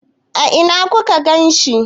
A ina ku ka ganshi?